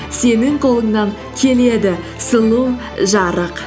сенің қолыңнан келеді сұлу жарық